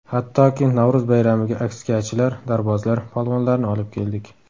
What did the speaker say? Hattoki Navro‘z bayramiga askiyachilar, dorbozlar, polvonlarni olib keldik.